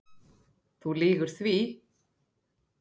Þú lýgur því